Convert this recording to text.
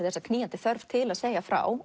þessa knýjandi þörf til að segja frá